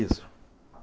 Isso.